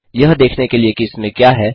यह देखने के लिए कि इसमें क्या है